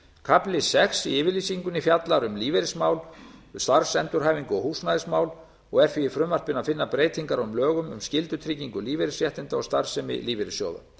kafli sex í yfirlýsingunni fjallar um lífeyrismál starfsendurhæfingu og húsnæðismál og er því í frumvarpinu að finna breytingar á lögum um skyldutryggingu lífeyrisréttinda og starfsemi lífeyrissjóða